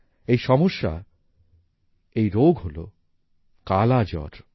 এই সমস্যা এই রোগ হলো কালা জ্বর